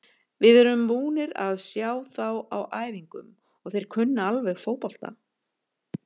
Við erum búnir að sjá þá á æfingum og þeir kunna alveg fótbolta.